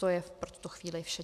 To je pro tuto chvíli vše.